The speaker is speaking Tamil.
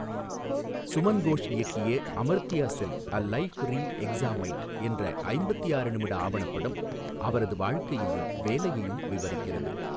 சுமன் கோஷ் இயக்கிய Amartya Sen a life reexamined என்ற ஐம்பத்தி ஆறு நிமிட ஆவணப்படம் அவரது வாழ்க்கையையும் வேலையையும் விவரிக்கிறது.